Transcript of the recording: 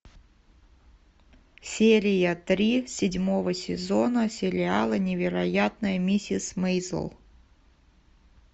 серия три седьмого сезона сериала невероятная миссис мейзел